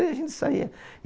E a gente saía.